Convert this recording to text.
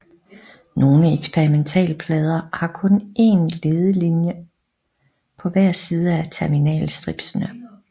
Nogle eksperimentalplader har kun én lederlinjer på hver side af terminal stripsene